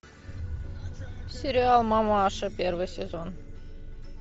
сериал мамаша первый сезон